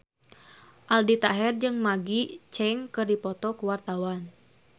Aldi Taher jeung Maggie Cheung keur dipoto ku wartawan